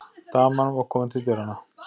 Daman var komin til dyranna.